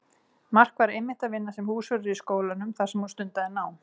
Mark var einmitt að vinna sem húsvörður í skólanum þar sem hún stundaði nám.